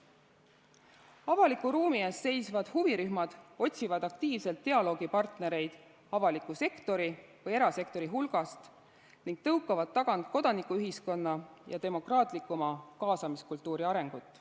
Avaliku ruumi eest seisvad huvirühmad otsivad aktiivselt dialoogipartnereid avaliku sektori või erasektori hulgast ning tõukavad tagant kodanikuühiskonna ja demokraatlikuma kaasamiskultuuri arengut.